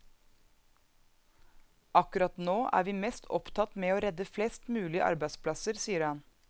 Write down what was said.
Akkurat nå er vi mest opptatt med å redde flest mulig arbeidsplasser, sier han.